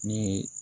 Ni ye